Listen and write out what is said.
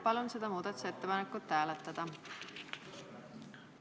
Palun seda muudatusettepanekut hääletada!